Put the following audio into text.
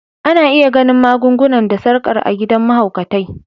Ana iya ganin magun-guna da sarkar a gidan mahaukatai.